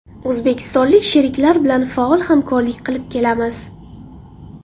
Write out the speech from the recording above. O‘zbekistonlik sheriklar bilan faol hamkorlik qilib kelamiz.